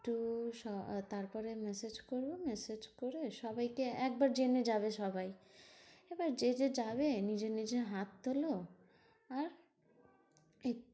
তারপরে massage করবো। massage করে সবাইকে একবার জেনে যাবে সবাই। যে যে যাবে নিজের নিজের হাত তোলো। আর